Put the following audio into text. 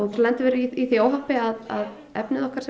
lendum við í því óhappi að efnið okkar sem